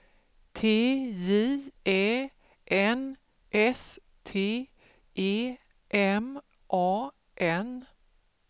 T J Ä N S T E M A N